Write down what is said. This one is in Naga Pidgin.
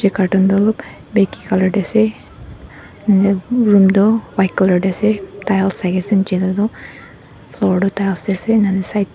yeh backi colour teh ase nap room tu white colour te ase tai aur tu horte tar aur ase nen sai.